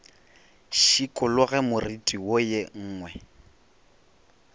šikologe moriti wo ye nngwe